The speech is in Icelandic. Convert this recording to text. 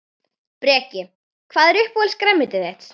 Breki: Hvað er uppáhalds grænmetið þitt?